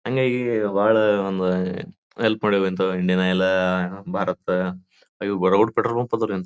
ಹಂಗಾಗಿ ಬಾಳ ಒಂದು ಹೆಲ್ಪ್ ಮಾಡ್ಯವ Indian Oil Bharat petrol bunk ಆದರಿ ಇವಂದು.